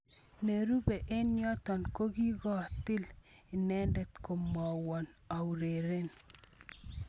Nerube eng yoto kokikotil netindet komwowon aureren.